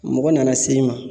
Mɔgɔ nana se i ma